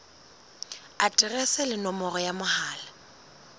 aterese le nomoro ya mohala